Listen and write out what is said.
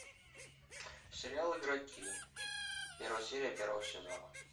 сериал игроки первая серия первого сезона